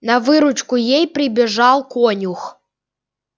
на выручку ей прибежал конюх